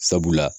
Sabula